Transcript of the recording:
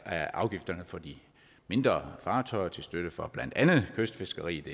af afgifterne for de mindre fartøjer til støtte for blandt andet kystfiskeriet